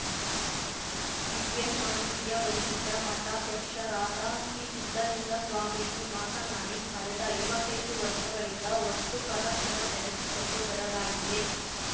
ದಿವ್ಯ ಸಾನ್ನಿಧ್ಯ ವಹಿಸಿದ್ದ ಮಠಾಧ್ಯಕ್ಷರಾದ ಶ್ರೀ ಸಿದ್ದಲಿಂಗ ಸ್ವಾಮೀಜಿ ಮಾತನಾಡಿ ಕಳೆದ ಐವತ್ತೈದು ವರ್ಷಗಳಿಂದ ವಸ್ತು ಪ್ರದರ್ಶನ ನಡೆಸಿಕೊಂಡು ಬರಲಾಗಿದೆ